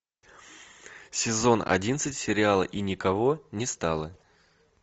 сезон одиннадцать сериала и никого не стало